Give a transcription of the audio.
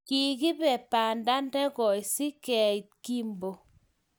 kikibe banda ne koi si keit Kimbo.